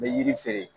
N bɛ yiri feere